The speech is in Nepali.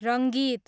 रङ्गीत